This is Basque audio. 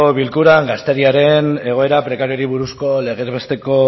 bilkuran gazteriaren egoera prekarioari buruzko legez besteko